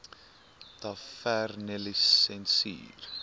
tavernelisensier